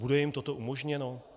Bude jim toto umožněno?